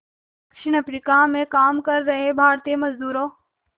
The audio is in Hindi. दक्षिण अफ्रीका में काम कर रहे भारतीय मज़दूरों